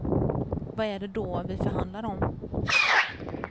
Vad är det då vi förhandlar om?